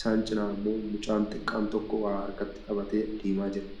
Isaan cinaa ammoo mucaan xiqqaan tokko waa harkatti qabatee adeemaa jira.